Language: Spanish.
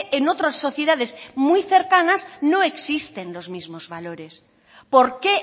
en otras sociedades muy cercanas no existen los mismos valores por qué